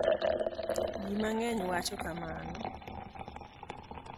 JI MANG'ENY wacho kamano.